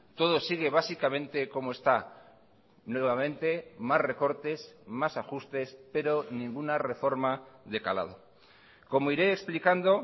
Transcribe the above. todo sigue básicamente como está nuevamente más recortes más ajustes pero ninguna reforma de calado como iré explicando